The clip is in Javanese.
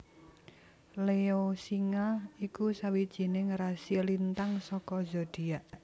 Leo Singa iku sawijining rasi lintang saka zodiak